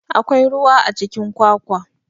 Akwai ruwa a cikin kwakwa.